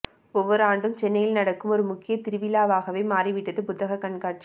ஒவ்வொரு ஆண்டும் சென்னையில் நடக்கும் ஒரு முக்கிய திருவிழாவாகவே மாறிவிட்டது புத்தகக் கண்காட்சி